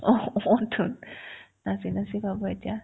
অ অতোন নাচি নাচি পাব এতিয়া